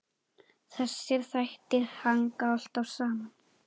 Þessir þættir hanga alltaf saman.